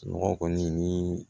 Nɔgɔ kɔni ni